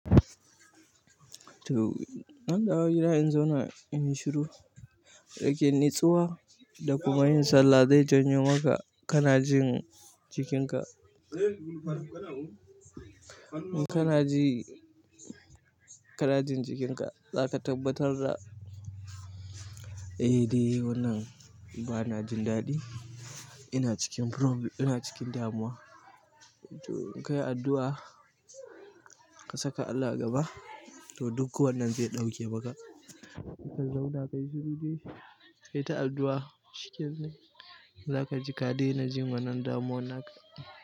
To zan dawo gida in zauna inyi shuru, naken nitsuwa da kuma yin sallah zai janyo maka kanajin jikinka. Kana ji kana jin jikinka zaka tabbatar da eh de wannan bana jin daɗi ina cikin ina cikin damuwa to inkai addu'a, ka saka Allah gaba to duk wannan zai ɗauke maka. Ka zauna kayi shiru dai, kai ta addu'a shikenan, za ka ji ka daina jin wannan damuwan naka.